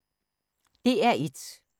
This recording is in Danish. DR1